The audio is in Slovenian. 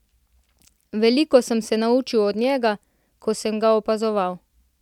Veliko sem se naučil od njega, ko sem ga opazoval.